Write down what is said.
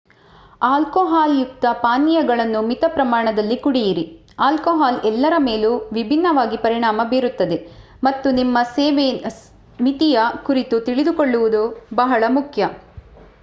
ಆಲ್ಕೊಹಾಲ್ಯುಕ್ತ ಪಾನೀಯಗಳನ್ನು ಮಿತ ಪ್ರಮಾಣದಲ್ಲಿ ಕುಡಿಯಿರಿ ಆಲ್ಕೊಹಾಲ್ ಎಲ್ಲರ ಮೇಲೂ ವಿಭಿನ್ನವಾಗಿ ಪರಿಣಾಮ ಬೀರುತ್ತದೆ ಮತ್ತು ನಿಮ್ಮ ಸೇವನೆ ಮಿತಿಯ ಕುರಿತು ತಿಳಿದುಕೊಳ್ಳುವುದು ಬಹಳ ಮುಖ್ಯ